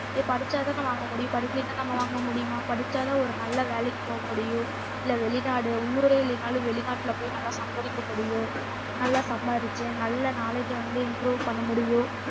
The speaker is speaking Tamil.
படிச்சாதான வாங்க முடியும் படிக்கலைன்னா நம்ம வாங்க முடியுமா படிச்சாதான் ஒரு நல்ல வேலைக்கு போக முடியும் இல்ல வெளிநாடு உள்ளூரே இல்லைன்னாலும் வெளிநாட்டுல போய் நல்லா சம்பாதிக்க முடியும் நல்லா சம்பாரிச்சு நல்ல knowledge அ வந்து improve பண்ண முடியும்